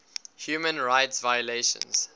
human rights violations